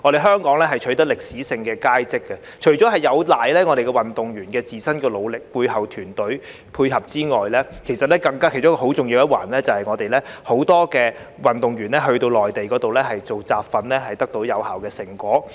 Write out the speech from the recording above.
香港取得歷史佳績，除了有賴運動員自身努力和背後團隊的配合外，其中很重要的一環，就是很多運動員在內地進行集訓得到有效成果。